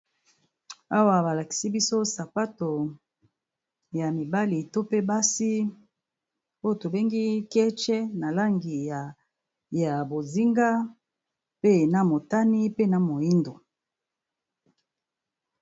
Awa ba lakisi biso sapato ya mibali to pe basi oyo tobengi ketch. Na langi ya bozinga, pe na motani, pe na moyindo.